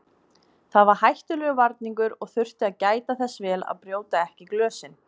Það var hættulegur varningur og þurfti að gæta þess vel að brjóta ekki glösin.